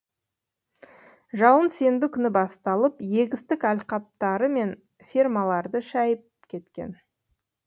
жауын сенбі күні басталып егістік алқаптары мен фермаларды шайып кеткен